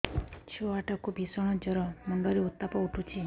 ଛୁଆ ଟା କୁ ଭିଷଣ ଜର ମୁଣ୍ଡ ରେ ଉତ୍ତାପ ଉଠୁଛି